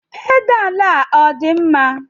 Pedalu a ọ dị mma?